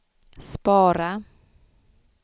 spara